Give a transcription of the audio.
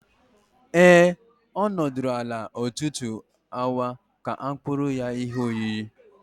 Ee, ọ nọdụrụ ala ọtụtụ awa ka a kpụrụ ya ihe oyiyi.